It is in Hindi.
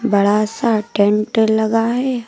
बड़ा सा टेंट लगा है।